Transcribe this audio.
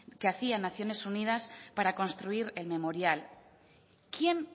que hacía naciones unidas para construir el memorial quién